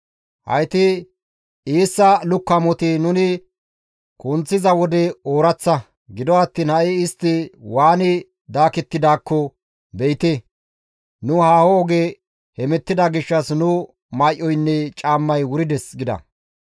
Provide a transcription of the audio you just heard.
Hayti eessa lukkamoti nuni kunththiza wode ooraththa; gido attiin ha7i istti waani daakettidaakko be7ite! Nu haaho oge hemettida gishshas nu may7oynne caammay wurides» gida.